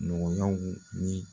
Nɔgɔnɲaw ye